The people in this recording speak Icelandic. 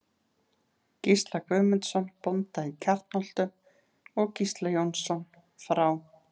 Gísla Guðmundsson, bónda í Kjarnholtum, og Gísla Jónsson frá